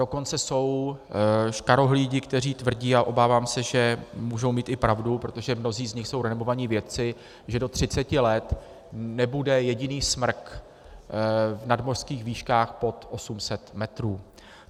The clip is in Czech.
Dokonce jsou škarohlídi, kteří tvrdí - a obávám se, že můžou mít i pravdu, protože mnozí z nich jsou renomovaní vědci -, že do 30 let nebude jediný smrk v nadmořských výškách pod 800 metrů.